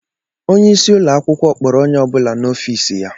Onye isi ụlọ akwukwo kpọrọ onye ọ bụla n'ofis ya.